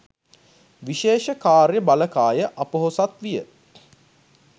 විශේෂ කාර්ය බළකාය අපොහොසත් විය